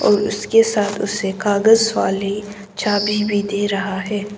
और उसके साथ उसे कागज वाली चाभी भी दे रहा है।